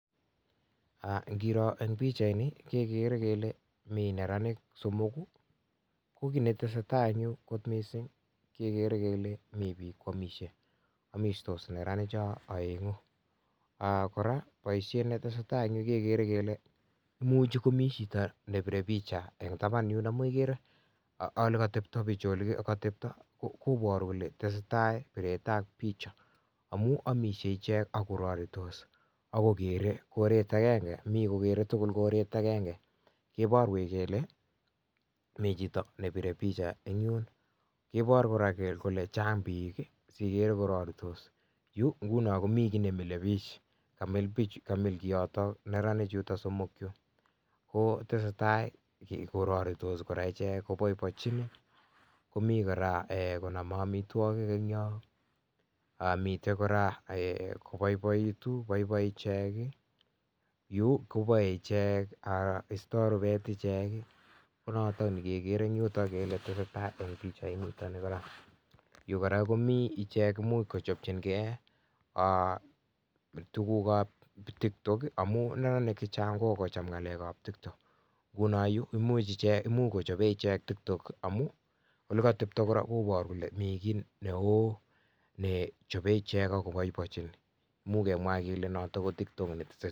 Ngiro en pichaini, kegere kele mi neranik somok, ko kit netesetai en yu kot mising kegere kele mi biik koamishe. Amistos neranicho oeng'u. Kora boisiet netesetai en yu kegere kele imuch komi chito nebire picha en taban yun. Amun igere olekotebto bichu, koboru kole tesetai biretab picha amun amishe ichek ak kororitos ak kogere koret agenge, mi kogere tugul koret agenge. Koborwech kole mi chito nebire picha ne yun Koibor kora kole chang biik asiigere kororitos, yu nguno komi kiy nemilebiik, kamil neranichuto chu. Ko tesetai kororitos kora ichek koboiboinchin. Komi kora konome amitwogik en yon. Miten kora koboiboitu, boiboi ichek, yu koisto rubet ichek. ko noto nekegere en yuto kele tesetai en pichainito. Yu kora komi ichek muut kochopchingei tugukab TikTok amun neranik che chang kokogocham ngalekab TikTok. Nguno yu imuch kochobe ichek TikTok amun ole kotebto kora koboru kol mi kiy neo ne chobe ichek ak koboiboechin. Imuch kemwa kele noto ko TikTok.